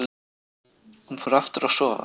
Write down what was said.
Hún fór aftur að sofa.